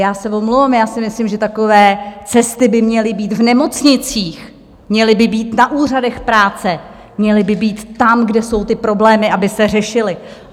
Já se omlouvám, já si myslím, že takové cesty by měly být v nemocnicích, měly by být na úřadech práce, měly by být tam, kde jsou ty problémy, aby se řešily.